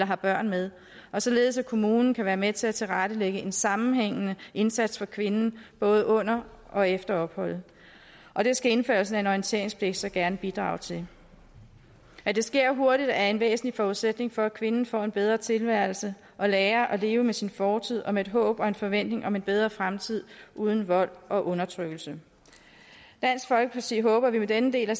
har børn med og således at kommunen kan være med til at tilrettelægge en sammenhængende indsats for kvinden både under og efter opholdet og det skal indførelsen af en orienteringspligt så gerne bidrage til at det sker hurtigt er en væsentlig forudsætning for at kvinden får en bedre tilværelse og lærer at leve med sin fortid og med et håb og en forventning om en bedre fremtid uden vold og undertrykkelse dansk folkeparti håber at vi med denne del af